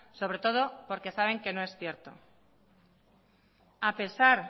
sobre todo porque saben que no es cierto a pesar